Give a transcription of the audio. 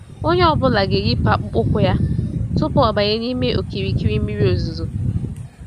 Onyé ọ bụla ga-eyipụ akpụkpọ ụkwụ yá tupu ọ banye n'ime okirikiri mmiri ozuzo.